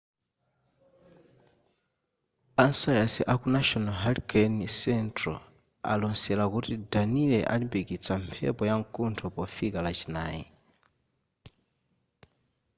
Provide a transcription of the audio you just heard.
a sayansi a ku national hurricane central alosera kuti danielle alimbikitsa mphepo yamkuntho pofika lachinayi